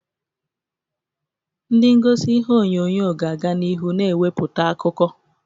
Ndị egosi ihe onyonyo ga-aga n'ihu na-ewepụta akụkọ.